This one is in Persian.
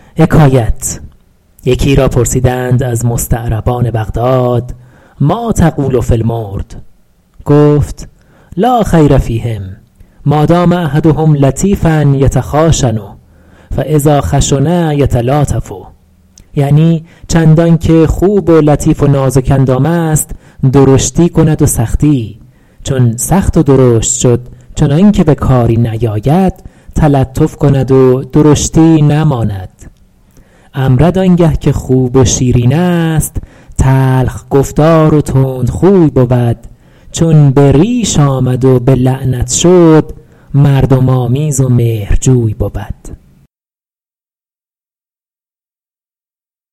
یکی را پرسیدند از مستعربان بغداد مٰا تقول فی المرد گفت لا خیر فیهم مادام احدهم لطیفا یتخاشن فاذا خشن یتلاطف یعنی چندان که خوب و لطیف و نازک اندام است درشتی کند و سختی چون سخت و درشت شد چنان که به کاری نیاید تلطف کند و درشتی نماند امرد آن گه که خوب و شیرین است تلخ گفتار و تندخوی بود چون به ریش آمد و به لعنت شد مردم آمیز و مهرجوی بود